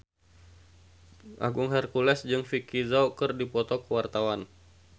Agung Hercules jeung Vicki Zao keur dipoto ku wartawan